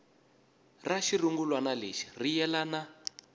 ra xirungulwana lexi ri yelana